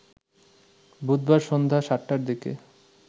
বুধবার সন্ধ্যা ৭ টার দিকে